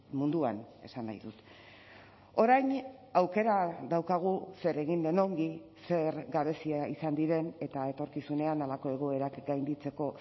munduan esan nahi dut orain aukera daukagu zer egin den ongi zer gabezia izan diren eta etorkizunean halako egoerak gainditzeko